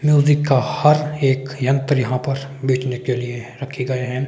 Music का हर एक यंत्र यहां पर बेचने के लिए रखे गए हैं।